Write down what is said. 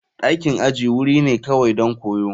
Dakin aji wuri ne kawai don koyo.